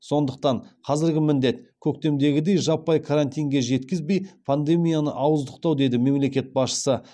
сондықтан қазіргі міндет көктемдегідей жаппай карантинге жеткізбей пандемияны ауыздықтау деді мемлекет басшысы